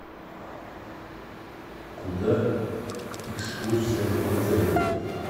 куда экскурсия в отеле